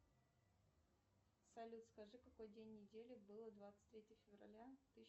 салют скажи какой день недели было двадцать третье февраля тысяча